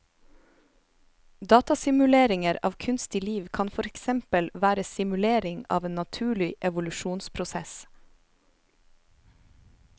Datasimuleringer av kunstig liv kan for eksempel være simulering av en naturlig evolusjonsprosess.